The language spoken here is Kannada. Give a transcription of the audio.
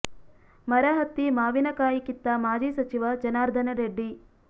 ಮರ ಹತ್ತಿ ಮಾವಿನ ಕಾಯಿ ಕಿತ್ತ ಮಾಜಿ ಸಚಿವ ಜನಾರ್ಧನ ರೆಡ್ಡಿ